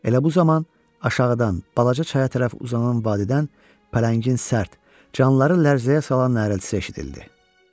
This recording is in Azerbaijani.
Elə bu zaman aşağıdan balaca çaya tərəf uzanan vadidən Pələngin sərt, canları lərzəyə salan nərəsi eşidildi.